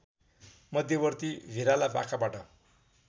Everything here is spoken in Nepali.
मध्यवर्ती भिराला पाखाबाट